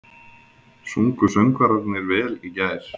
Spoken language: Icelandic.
Sungu söngvararnir vel í gær?